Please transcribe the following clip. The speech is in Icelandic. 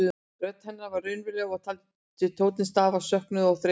Rödd hennar var raunaleg og ég taldi tóninn stafa af söknuði og þreytu.